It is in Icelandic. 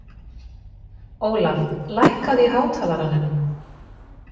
Ólaf, lækkaðu í hátalaranum.